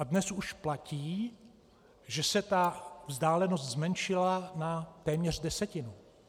A dnes už platí, že se ta vzdálenost zmenšila na téměř desetinu.